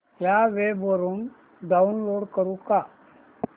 या वेब वरुन डाऊनलोड करू का